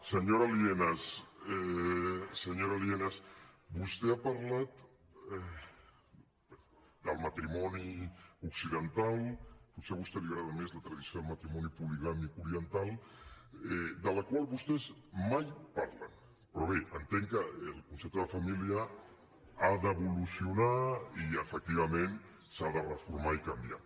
senyora lienas vostè ha parlat del matrimoni occidental potser a vostè li agrada més la tradició del matrimoni poligàmic oriental de la qual vostès mai parlen però bé entenc que el concepte de família ha d’evolucionar i efectivament s’ha de reformar i canviar